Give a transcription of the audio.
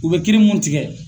U bɛ kiiri mun tigɛ